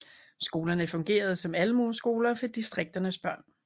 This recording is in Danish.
Skolerne fungerede som almueskoler for distrikternes børn